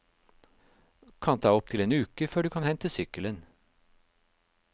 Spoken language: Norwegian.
Kan ta opptil en uke før du kan hente sykkelen.